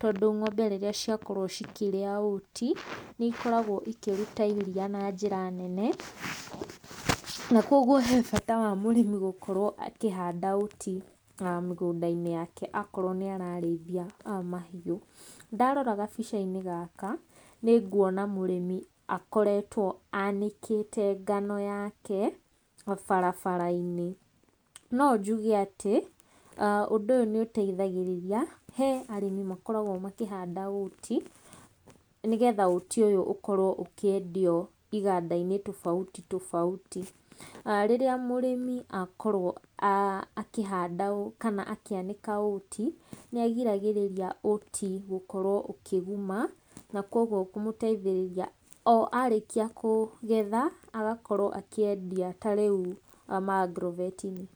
tondũ ng'ombe rĩrĩa ciakorwo cikĩrĩa oat nĩ ikoragwo ikĩruta iria na njĩra nene. Na koguo he bata wa mũrĩmi gũkorwo akĩhanda oat mũgũnda-inĩ wake okorwo nĩ ararĩithia mahiũ. Ndarora gabica-inĩ gaka nĩ nguona mũrĩmi akoretwo anĩkĩte ngano yake barabara-inĩ. No njuge atĩ ũndũ ũyũ nĩ ũteithagĩrĩria he arĩmi makoragwo makĩhanda oat, nĩgetha oat ũyũ ũkorwo ũkĩendio iganda-inĩ tofauti tofauti. Rĩrĩa mũrĩmi akorwo akĩhanda kana akĩanĩka oat, nĩ agiragĩrĩria oat gũkorwo ũkĩguma, na koguo kũmũteithĩrĩria o arĩkia kũgetha agakorwo akĩendia ta rĩu ma agrovet -inĩ.